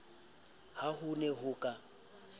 ha ho ne ho ka